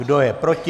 Kdo je proti?